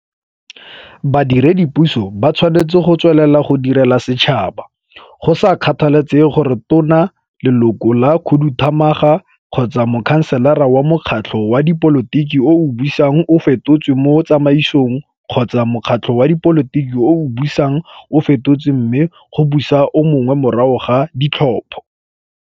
Badiredipuso ba tshwanetse go tswelela go direla setšhaba, go sa kgathalesege gore Tona, Leloko la Khuduthamaga kgotsa Mokhanselara wa mokgatlho wa dipolotiki o o busang o fetotswe mo tsamaisong, kgotsa mokgatlho wa dipolotiki o o busang o fetotswe mme go busa o mongwe morago ga ditlhopho.